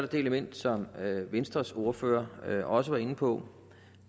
det element som venstres ordfører også var inde på